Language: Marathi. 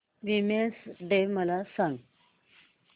वीमेंस डे मला सांग